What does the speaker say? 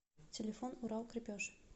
телефон урал крепеж